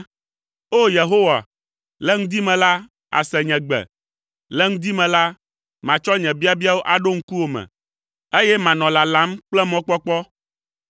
O! Yehowa, le ŋdi me la, àse nye gbe; le ŋdi me la, matsɔ nye biabiawo aɖo ŋkuwò me, eye manɔ lalam kple mɔkpɔkpɔ.